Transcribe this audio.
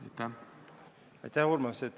Aitäh, Urmas!